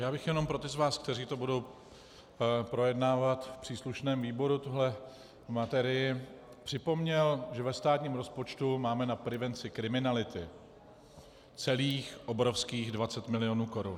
Já bych jenom pro ty z vás, kteří to budou projednávat v příslušném výboru, tuhle materii, připomněl, že ve státním rozpočtu máme na prevenci kriminality celých obrovských 20 mil. korun.